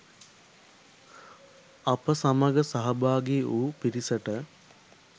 අප සමග සහභාගි වූ පිරිසට